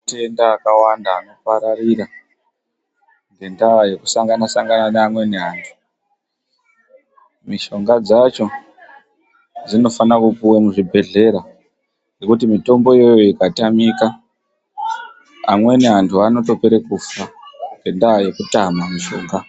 Matenda akawanda anopararira ngendaa yekusangana-sangana neamweni antu. Mishonga dzacho dzinofana kupuwe muzvibhehlera, ngekuti mitombo iyoyo ikatamika, amweni antu anotopere kufa ngendaa yekutama mishonga.